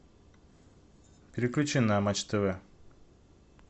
переключи на матч тв